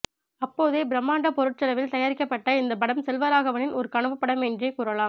அப்போதே பிராம்மாண்ட பொருட்செலவில் தயாரிக்கப்பட்ட இந்த படம் செல்வராகவனின் ஒரு கனவு படம் என்ரே கூறலாம்